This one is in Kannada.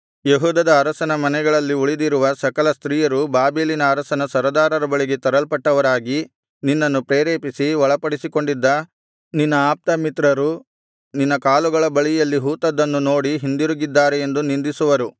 ಯೆಹೂದದ ಅರಸನ ಮನೆಯಲ್ಲಿ ಉಳಿದಿರುವ ಸಕಲ ಸ್ತ್ರೀಯರು ಬಾಬೆಲಿನ ಅರಸನ ಸರದಾರರ ಬಳಿಗೆ ತರಲ್ಪಟ್ಟವರಾಗಿ ನಿನ್ನನ್ನು ಪ್ರೇರೇಪಿಸಿ ಒಳಪಡಿಸಿಕೊಂಡಿದ್ದ ನಿನ್ನ ಆಪ್ತಮಿತ್ರರು ನಿನ್ನ ಕಾಲುಗಳ ಬದಿಯಲ್ಲಿ ಹೂತದ್ದನ್ನು ನೋಡಿ ಹಿಂದಿರುಗಿದ್ದಾರೆ ಎಂದು ನಿಂದಿಸುವರು